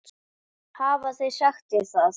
Hafa þeir sagt þér það?